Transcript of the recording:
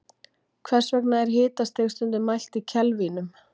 hvers vegna er hitastig stundum mælt í kelvínum